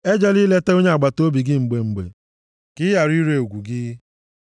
Ejela ileta onye agbataobi gị mgbe mgbe, ka ị ghara ire ugwu gị.